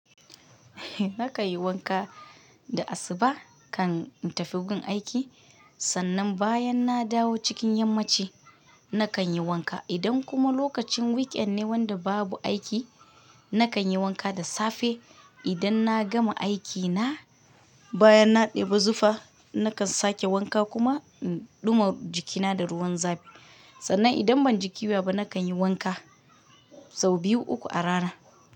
Nakan yi wanka da asuba kan in tafi gun aiki, sannan bayan na dawo cikin yammaci nakan yi wanka. Idan kuma lokacin weekend ne wanda babu aiki, nakan yi wanka da safe idan na gama aiki na, bayan na ɗeba zufa nakan sake wanka kuma in ɗuma jikina da ruwan zafi. Sannan idan ban ji ƙyuya ba, nakan yi wanka sau biyu uku a rana.